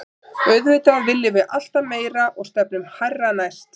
Auðvitað viljum við alltaf meira og stefnum hærra næst.